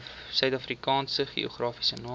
suidafrikaanse geografiese name